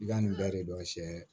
I ka nin bɛɛ de dɔn sɛ